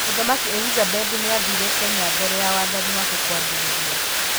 Mũthamaki Elizabeth nĩ aathire Kenya mbere ya wathani wake kwambĩrĩria.